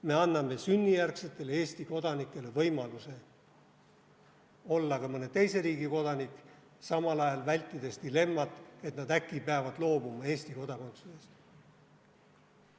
Me anname sünnijärgsetele Eesti kodanikele võimaluse olla ka mõne teise riigi kodanik, vältides samal ajal dilemmat, et nad äkki peavad loobuma Eesti kodakondsusest.